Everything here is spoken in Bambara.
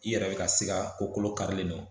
I yɛrɛ bɛ ka sika ko kolo karilen don